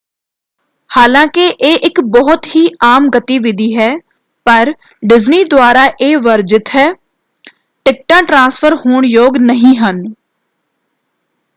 ਹਾਲਾਂਕਿ ਇਹ ਇੱਕ ਬਹੁਤ ਹੀ ਆਮ ਗਤੀਵਿਧੀ ਹੈ ਪਰ ਡਿਜ਼ਨੀ ਦੁਆਰਾ ਇਹ ਵਰਜਿਤ ਹੈ: ਟਿਕਟਾਂ ਟ੍ਰਾਂਸਫ਼ਰ ਹੋਣ ਯੋਗ ਨਹੀਂ ਹਨ।